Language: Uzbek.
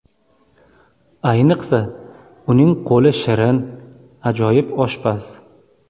Ayniqsa, uning qo‘li shirin, ajoyib oshpaz.